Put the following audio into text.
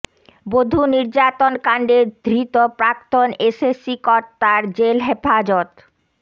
বধূ নির্যাতন কাণ্ডে ধৃত প্রাক্তন এসএসসি কর্তার জেল হেফাজত